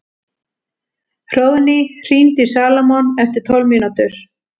Hróðný, hringdu í Salómon eftir tólf mínútur.